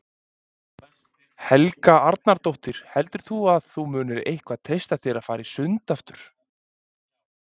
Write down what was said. Helga Arnardóttir: Heldur að þú munir eitthvað treysta þér að fara í sund aftur?